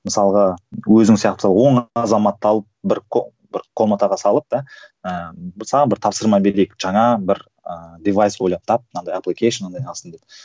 мысалға өзің сияқты он азаматты алып бір бір комнатаға салып да ыыы саған бір тапсырма берейік жаңа бір ыыы девайс ойлап тап мынандай